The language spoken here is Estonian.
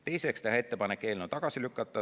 Teiseks, teha ettepanek eelnõu tagasi lükata.